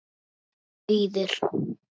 Þín, Auður.